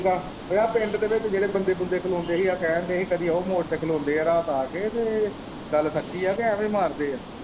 ਉਹ ਆਹ ਦੇ ਵਿੱਚ ਜਿਹੜੇ ਬੰਦੇ ਬੁੰਦੇ ਖਲੋਦੇਂ ਹੀ ਗੇ ਸਹਿਰ ਦੇ ਕਦੀ ਉਹ ਮੋੜ ਤੇ ਖਲੋਦੇਂ ਹੈ ਰਾਤ ਆ ਕੇ ਤੇ ਇਹ ਗੱਲ ਸੱਚੀ ਹੈ ਕਿ ਐਂਵੇ ਹੀ ਮਾਰਦੇ ਹੈ।